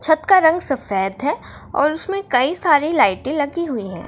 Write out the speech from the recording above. छत का रंग सफ़ेद है और उसमें कई सारी लाइटें लगी हुई है।